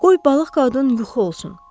Qoy balıq qadın yuxu olsun.